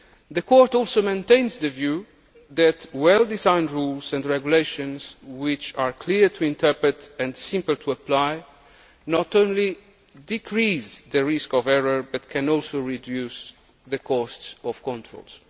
Court. The Court also maintains the view that well designed rules and regulations which are clear to interpret and simple to apply not only decrease the risk of error but can also reduce the costs of